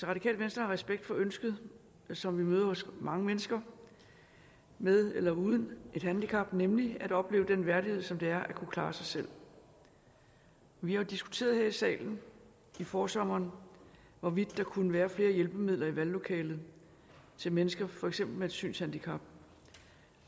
radikale venstre har respekt for ønsket som vi møder hos mange mennesker med eller uden et handicap nemlig at opleve den værdighed som det er at kunne klare sig selv vi har jo diskuteret her i salen i forsommeren hvorvidt der kunne være flere hjælpemidler i valglokalet til mennesker for eksempel med et synshandicap